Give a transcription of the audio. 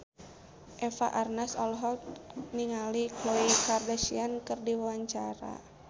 Eva Arnaz olohok ningali Khloe Kardashian keur diwawancara